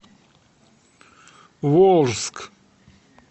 волжск